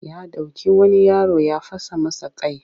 Ya doki wani yaro ya fasa masa kai